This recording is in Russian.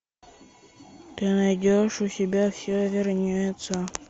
ты найдешь у себя все вернется